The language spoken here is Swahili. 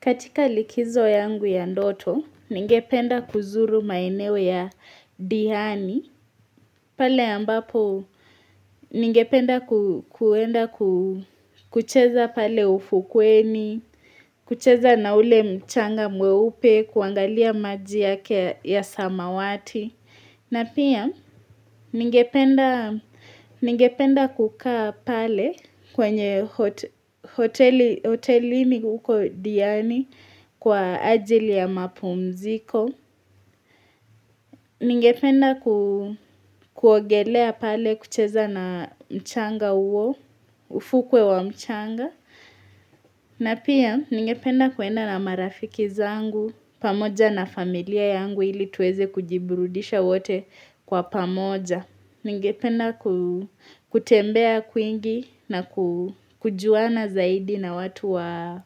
Katika likizo yangu ya ndoto, ningependa kuzuru maeneo ya Dihani, pale ambapo ningependa kwenda kucheza pale ufukweni, kucheza na ule mchanga mweupe, kuangalia maji yake ya samawati. Na pia, ningependa kukaa pale kwenye hotelini huko Diani kwa ajili ya mapumziko. Ningependa kuogelea pale kucheza na mchanga huo, ufukwe wa mchanga. Na pia ningependa kwenda na marafiki zangu, pamoja na familia yangu ili tuweze kujiburudisha wote kwa pamoja. Ningependa kutembea kwingi na kujuana zaidi na watu wa